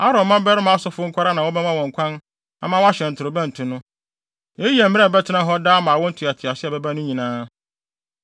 “Aaron mmabarima asɔfo nko ara na wɔbɛma wɔn kwan ama wɔahyɛn ntorobɛnto no. Eyi yɛ mmara a ɛbɛtena hɔ daa ama awo ntoatoaso a ɛbɛba no nyinaa.